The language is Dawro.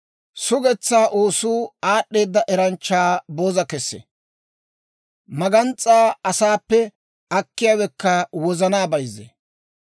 Sugetsaa oosuu aad'd'eeda eranchchaa booza kessee; magans's'aa asaappe akkiyaawekka wozanaa bayzzee.